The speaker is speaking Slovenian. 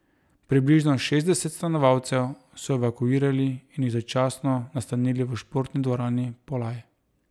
Približno šestdeset stanovalcev so evakuirali in jih začasno nastanili v športni dvorani Polaj.